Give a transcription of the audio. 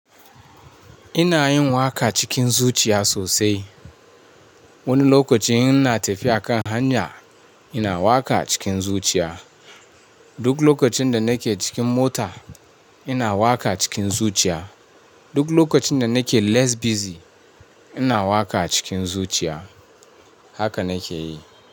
Ina yin waƙa cikin zuciya sosai. Wani lokaci ina tafiya a kan hanya, ina waƙa cikin zuciya. Duk lokacin da nake cikin mota ina waƙa cikin zuciya. Duk lokacin da nake less busy ina waƙa cikin zuciya. Haka na ke yi.